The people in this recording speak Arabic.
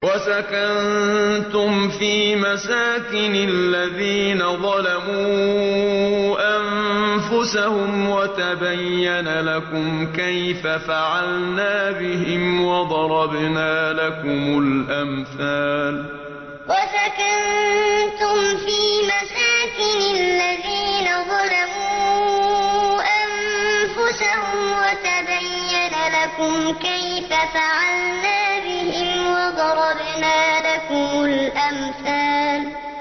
وَسَكَنتُمْ فِي مَسَاكِنِ الَّذِينَ ظَلَمُوا أَنفُسَهُمْ وَتَبَيَّنَ لَكُمْ كَيْفَ فَعَلْنَا بِهِمْ وَضَرَبْنَا لَكُمُ الْأَمْثَالَ وَسَكَنتُمْ فِي مَسَاكِنِ الَّذِينَ ظَلَمُوا أَنفُسَهُمْ وَتَبَيَّنَ لَكُمْ كَيْفَ فَعَلْنَا بِهِمْ وَضَرَبْنَا لَكُمُ الْأَمْثَالَ